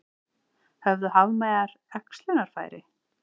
Höfðu hafmeyjar æxlunarfæri?